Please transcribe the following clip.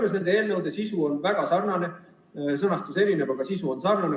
Mõlema eelnõu sisu on väga sarnane, sõnastus on erinev, aga sisu on sarnane.